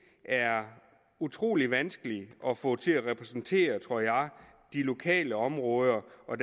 er utrolig vanskeligt at få til at repræsentere tror jeg de lokale områder og